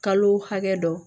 Kalo hakɛ dɔ